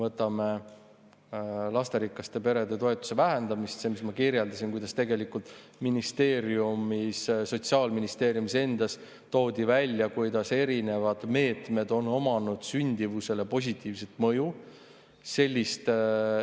Võtame näiteks lasterikaste perede toetuse vähendamise: nagu ma kirjeldasin, toodi Sotsiaalministeeriumis endas välja, kuidas erinevad meetmed on sündimust positiivselt mõjutanud.